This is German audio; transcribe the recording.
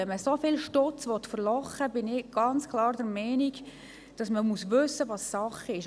Wenn man so viel Geld «verlochen» will, muss man meiner Meinung nach wirklich wissen, was Sache ist.